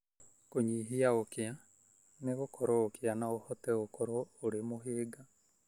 Kũnyihia ũkĩa: Nĩ gũkorwo ũkĩa no ũhote gũkorwo ũrĩ mũhĩnga